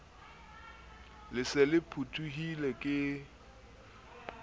le se le phuthehile ke